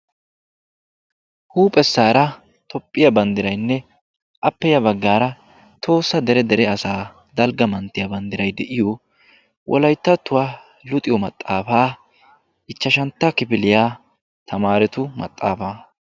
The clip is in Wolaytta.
Huuphphesaara toophphiyaa banddiraynne appe ya baggaara tohossa dere dere asaa dalgga manttiyaa banddiray de'iyoo wolayttattuwaa luxiyoo maxaafaa ichchashshantta kifiliyaa tamaretu maxaafaa.